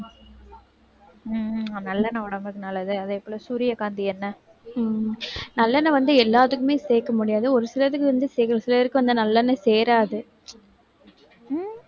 உம் நல்லெண்ணெய் உடம்புக்கு நல்லது. அதே போல, சூரியகாந்தி எண்ணெய் நல்லெண்ணெய் வந்து எல்லாத்துக்குமே சேர்க்க முடியாது. ஒரு சிலருக்கு வந்து சிலருக்கு வந்து நல்லெண்ணெய் சேராது. உம்